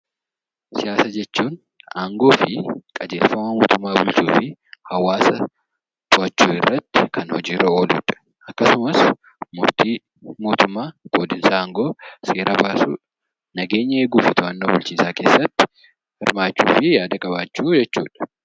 Siyaasa jechuun aangoo fi qajeelfama mootummaa bulchuu fi to'achuu irratti kan hojiirra ooludha. Akkasumas murtii mootummaa qoodinsa aangoo, seera baasuu, nageenya eeguu fi bulchiinsa keessatti hirmaachuh fi yaada qabaachuu jechuudha.